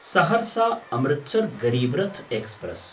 Saharsa Amritsar Garib Rath express